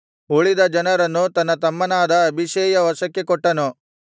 ಉಳಿದ ಜನರನ್ನು ತನ್ನ ತಮ್ಮನಾದ ಅಬೀಷೈಯ ವಶಕ್ಕೆ ಕೊಟ್ಟನು